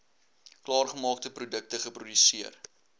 klaargemaakte produkte geproduseer